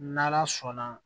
N'ala sɔnna